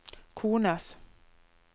kones